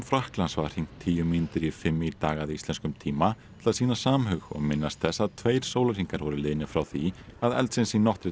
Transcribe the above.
Frakklands var hringt tíu mínútur í fimm í dag að íslenskum tíma til að sýna samhug og minnast þess að tveir sólarhringar voru liðnir frá því að eldsins í